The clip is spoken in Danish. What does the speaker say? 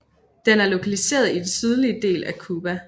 Den er lokaliseret i den sydlige del af Cuba